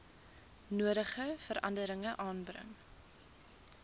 nodige veranderinge aanbring